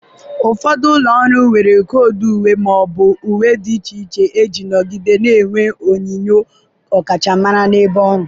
ụfọdụ ụlọ ọrụ nwere koodu uwe ma ọ bụ uwe dị iche iche iji nọgide na-enwe onyinyo ọkachamara n'ebe ọrụ.